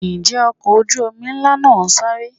Ǹjẹ́ ọkọ̀ ojú omi ńlá náà ń sáré?